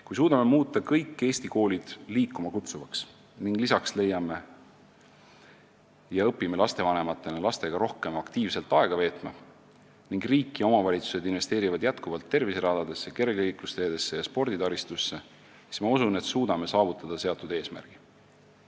Kui suudame kõik Eesti koolid liikuma kutsuvaks muuta, õpime lisaks lastevanematena lastega rohkem aktiivselt aega veetma ning riik ja omavalitsused investeerivad jätkuvalt terviseradadesse, kergliiklusteedesse ja sporditaristusse, siis usun, et saavutame seatud eesmärgi.